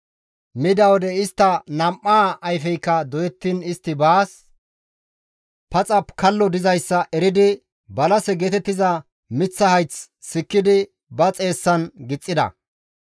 Mida wode istta nam7aa ayfeykka doyettiin istti baas paxa kallo dizayssa eridi balase geetettiza miththa hayth sikkidi ba xeessan gixxida.